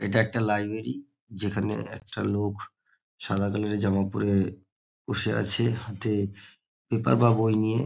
এটা একটা লাইব্রেরি । যেখানে একটা লোক সাদা কালারের জামা পরে বসে আছে। হাতে পেপার বা বই নিয়ে ।